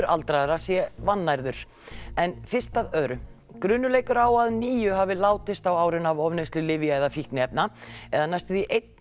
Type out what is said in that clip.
aldraðra sé vannærður en fyrst að öðru grunur leikur á að níu hafi látist á árinu af ofneyslu lyfja eða fíkniefna eða næstum einn